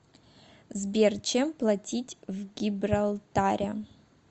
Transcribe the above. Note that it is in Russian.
сбер чем платить в гибралтаре